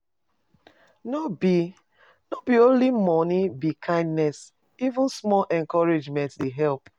No be, no be only money be kindness, even small encouragement dey help.